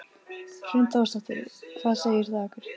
Hrund Þórsdóttir: Hvað segir það okkur?